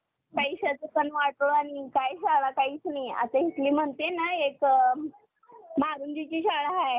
पैशाचं पण वाटुळ आणि काय शाळा काहीच नाही आता हितली म्हणते ना एक मारुंदीची शाळा आहे